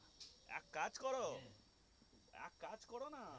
এক কাজ করো এক কাজ করো না